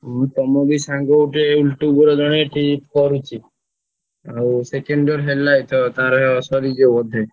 ମୁଁ ତମ ବି ସାଙ୍ଗ ଗୋଟେ ର ଜଣେ ଏଠି କରୁଛି ଆଉ second year ହେଲା ଏବେ ତା'ର ସରିଯିବ ବୋଧେ।